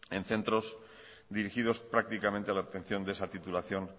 en centros dirigidos prácticamente a la obtención de esa titulación